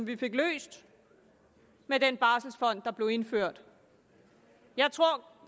det fik vi løst med den barselfond der blev indført jeg tror